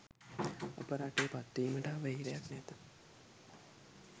අප රටේ පත්වීමට අවහිරයක් නැත.